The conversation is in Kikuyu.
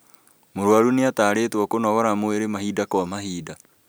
Mũrwaru nĩatarĩtwo kũnogora mwĩrĩ mahinda kwa mahinda